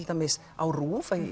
dæmis á RÚV